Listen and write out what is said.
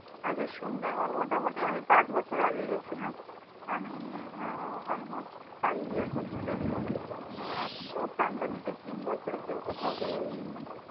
আচ্ছা, সুন্দরবন মোটামুটি আমি পাঁচ বছর আগে গিয়েছিলাম। আমি আহ almost five years হতে চলল। কেনো, এক তো pandemic এর তিন বছর কেউ কোথাও বেরোই নি।